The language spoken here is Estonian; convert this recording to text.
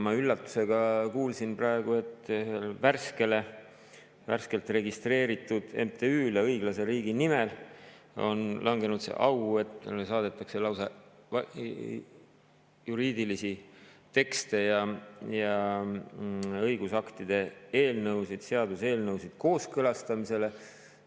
Ma üllatusega kuulsin praegu, et värskelt registreeritud MTÜ‑le Õiglase Riigi Nimel on langenud see au, et talle saadetakse lausa juriidilisi tekste ja õigusaktide eelnõusid, seaduseelnõusid kooskõlastamisele.